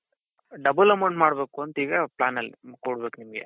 double amount ಮಾಡ್ಬೇಕು ಅಂತ ಈಗ plan ಕೊಡ್ಬೇಕು ನಿಮ್ಗೆ.